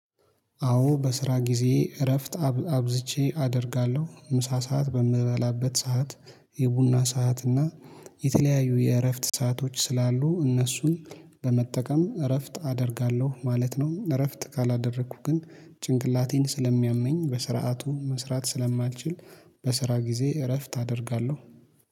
አዎ በስራ ጊዜ እረፍት አብዝቼ አደርጋለሁ ምሳ ሰዓት በምበላበት ሰዓት የቡና ሰዓት እና የተለያዩ የእረፍት ሰአቶች ስላሉ እነሱን በመጠቀም እረፍት አደርጋለሁ ማለት ነው። እረፍት ካላደረኩ ግን ጭንቅላቴን ስለሚያመኝ በስርዓቱ መስራት ስለማትችል። በስራ ጊዜ እረፍት አደርጋለሁ